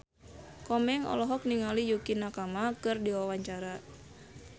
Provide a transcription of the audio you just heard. Komeng olohok ningali Yukie Nakama keur diwawancara